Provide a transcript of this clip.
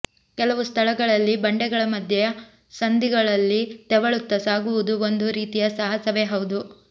ಕೆಲವು ಸ್ಥಳಗಳಲ್ಲಿ ಬಂಡೆಗಳ ಮಧ್ಯೆ ಸಂದಿಗಳಲ್ಲಿ ತೆವಳುತ್ತಾ ಸಾಗುವುದು ಒಂದು ರೀತಿಯ ಸಾಹಸವೆ ಹೌದು